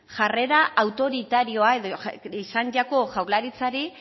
jarrera autoritarioa edo izan jako jaurlaritzari